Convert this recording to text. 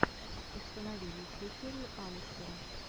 установи лучшую серию алистера